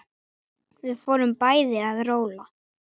Við fórum bæði að róla.